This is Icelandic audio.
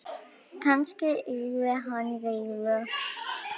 Kannski yrði hann reiður?